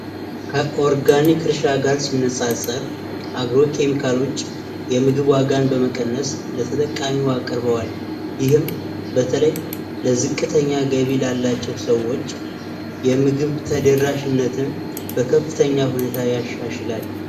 ከኦርጋኒክ እርሻ ጋር ሲነፃፀር አግሮ ኬሚካሎች የምግብ ዋጋን በመቀነስ ለተጠቃሚው አቅርበዋል ይህም በተለይ ለዝቅተኛ ገቢ ላላቸው ሰዎች የምግብ ተደራሽነትን በከፍተኛ ሁኔታ ያሻሽላል።